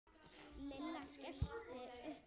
Lilla skellti upp úr.